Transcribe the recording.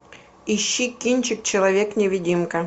ищи кинчик человек невидимка